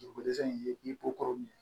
Dugukolo dɛsɛ in ni ko kɔrɔ min